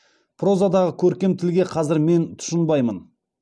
прозадағы көркем тілге қазір мен тұщынбаймын